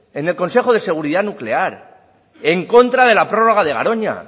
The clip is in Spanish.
en el consejo de seguridad nuclear en contra de la prorroga de garoña